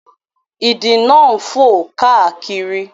Ìdì náà ń fò káàkiri